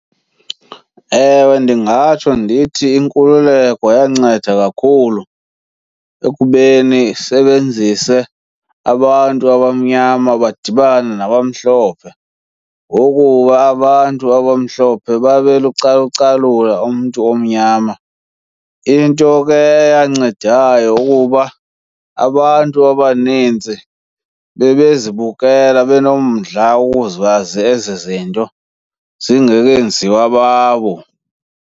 Ewe, ndingatsho ndithi inkululeko yanceda kakhulu ekubeni isebenzise abantu abamnyama badibane nabamhlophe, ngokuba abantu abamhlophe babe umntu omnyama. Into ke eyancedayo kukuba abantu abaninzi bebezibukela benomdla wokuzazi ezizinto, zingekenziwa babo.